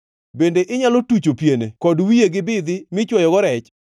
Bende inyalo tucho piene kod wiye gi bidhi michwoyogo rech?